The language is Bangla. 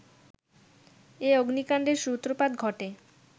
এ অগ্নিকাণ্ডের সূত্রপাত ঘটে